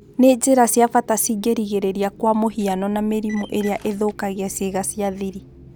Nĩ njĩra cia-bata cingĩrigĩrĩria kwa-mũhiano na mĩrimũ ĩrĩa ĩthũkagia ciĩga cia-thiri.